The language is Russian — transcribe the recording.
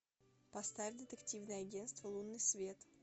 поставь детективное агентство лунный свет